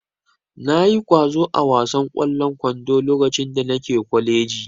Na yi ƙwazo a wasan ƙwallon kwando lokacin da nake kwaleji